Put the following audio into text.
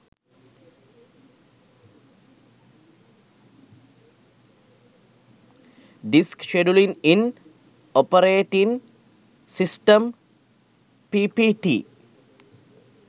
disk scheduling in operating system ppt